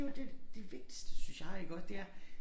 Det jo det det vigtigste synes jeg iggå det er